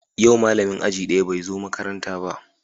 Yau malamin aji daya bai zo makaranta ba